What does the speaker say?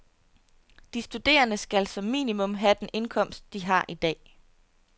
De studerende skal som minimum have den indkomst, de har i dag.